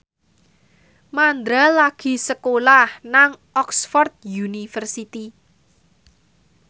Mandra lagi sekolah nang Oxford university